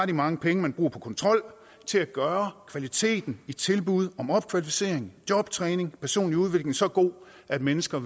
de mange penge man bruger på kontrol til at gøre kvaliteten i tilbud om opkvalificering jobtræning og personlig udvikling så god at mennesker